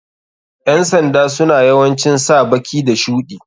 Ƴan sanda suna yawancin sa baki da shuɗi.